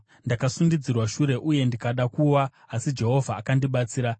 Ndakasundidzirwa shure uye ndikada kuwa, asi Jehovha akandibatsira.